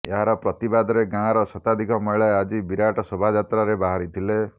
ଏହାର ପ୍ରତିବାଦରେ ଗାଁର ଶତାଧିକ ମହିଳା ଆଜି ବିରାଟ ଶୋଭାଯାତ୍ରାରେ ବାହାରିଥିଲେ